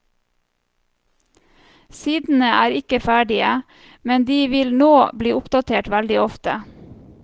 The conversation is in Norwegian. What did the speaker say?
Sidene er ikke ferdige, men de vil nå bli oppdatert veldig ofte.